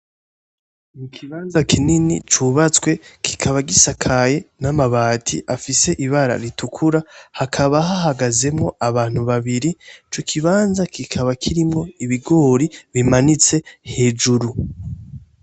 Ikibanza kinini cubatswe kikaba gisakaye n'amabati afise ibara ritukura, hakaba hahagazemwo abantu babiri, ico kibanza kikaba kirimwo ibigori bimanitse hejuru.